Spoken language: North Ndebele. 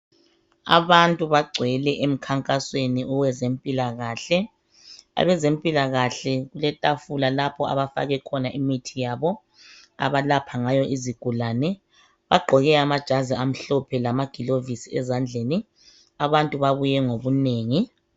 Abantu bagcwele emkhankasweni wezempilakahle. Abezempilakahle kuletafula lapho abafake khona imithi yabo abalapha ngayo izigulane. Bagqoke amajazi amhlophe lamagilovisi ezandleni. Abantu babuye ngobunengi.